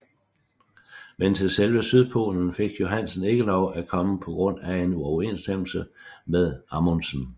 Men til selve Sydpolen fik Johansen ikke lov at komme på grund af en uoverensstemmelse med Amundsen